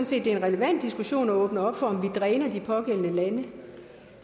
set det er en relevant diskussion at åbne op for om vi dræner de pågældende lande